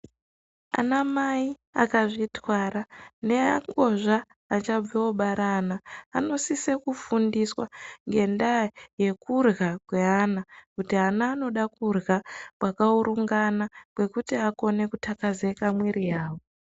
Anamai akazvitwara neangozva achabve kubara ana anosise kufundiswa ngendaa yekurya kweana kuti ana anoda kwekurya kwakaurungana kwekuti ana akone kutyakazeka mwiiri yavo.